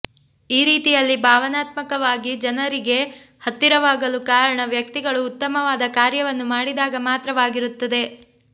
ಈ ರೀತಿಯಲ್ಲಿ ಭಾವನಾತ್ಮಕವಾಗಿ ಜನರಿಗೆ ಹತ್ತಿರವಾಗಲು ಕಾರಣ ವ್ಯಕ್ತಿಗಳು ಉತ್ತಮವಾದ ಕಾರ್ಯವನ್ನು ಮಾಡಿದಾಗ ಮಾತ್ರವಾಗಿರುತ್ತದೆ